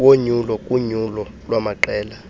wonyulo kunyulo lwamaqela